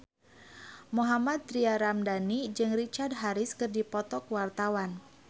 Mohammad Tria Ramadhani jeung Richard Harris keur dipoto ku wartawan